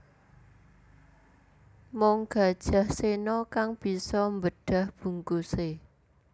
Mung Gajah Sena kang bisa mbedah bungkuse